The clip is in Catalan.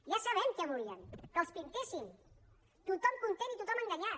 ja sabem què volien que els pintéssim tothom content i tothom enganyat